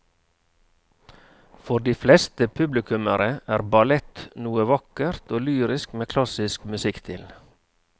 For de fleste publikummere er ballett noe vakkert og lyrisk med klassisk musikk til.